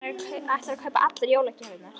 Hann ætlar að kaupa allar jólagjafirnar.